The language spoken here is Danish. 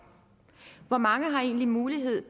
hvor mange har egentlig mulighed